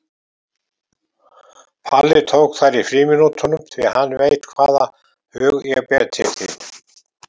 Palli tók þær í frímínútunum því hann veit hvaða hug ég ber til þín.